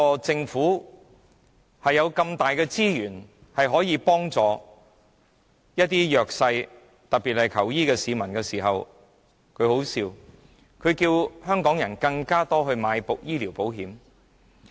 政府顯然有很多資源可以幫助弱勢人士，特別是需要求醫的市民，但卻要求香港人購買更多醫療保險。